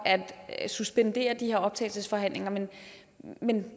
at suspendere de her optagelsesforhandlinger men